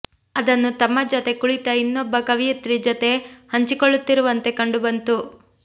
ಅದನ್ನು ತಮ್ಮ ಜೊತೆ ಕುಳಿತ ಇನ್ನೊಬ್ಬ ಕವಿಯಿತ್ರಿ ಜೊತೆ ಹಂಚಿಕೊಳ್ಳುತ್ತಿರುವಂತೆ ಕಂಡು ಬಂತು